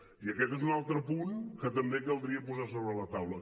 i aquest és un altre punt que també caldria posar sobre la taula